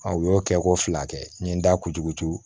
u y'o kɛ ko fila kɛ n ye n da kunjugu tuu